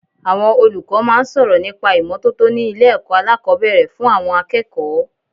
Àwọn olùkọ́ máa ń sọ̀rọ̀ nípa ìmọ́tótó ni ilé ẹ̀kọ́ alákòbẹ̀rẹ̀ fún àwọn akẹ́kọ̀ọ́.